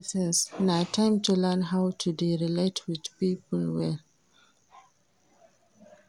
Adolescence na time to learn how to dey relate wit pipo well.